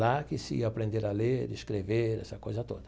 Lá que se ia aprender a ler, escrever, essa coisa toda.